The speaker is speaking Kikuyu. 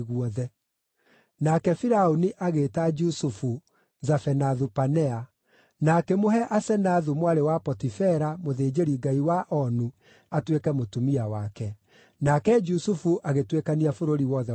Nake Firaũni agĩĩta Jusufu Zafenathu-Panea, na akĩmũhe Asenathu mwarĩ wa Potifera, mũthĩnjĩri-ngai wa Onu, atuĩke mũtumia wake. Nake Jusufu agĩtuĩkania bũrũri wothe wa Misiri.